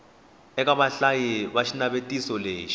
eka vahlayi va xinavetiso lexi